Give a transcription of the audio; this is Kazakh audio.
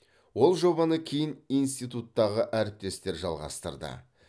ол жобаны кейін институттағы әріптестер жалғастырды